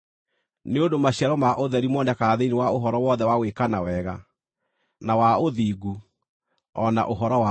(nĩ ũndũ maciaro ma ũtheri monekaga thĩinĩ wa ũhoro wothe wa gwĩkana wega, na wa ũthingu, o na ũhoro wa ma),